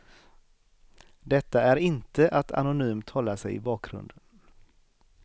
Detta är inte att anonymt hålla sig i bakgrunden.